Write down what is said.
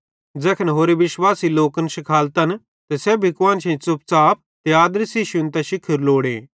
ज़ैखन होरे लोक विश्वासी लोकन शिखालन त सेब्भी कुआन्शेईं च़ुपच़ाप ते आदरी सेइं शुन्तां शिखोरू लोड़े